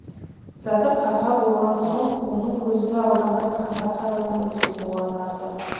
заты қарға болған соң оның көзді алдамай қара қарғаның өзі болғаны артық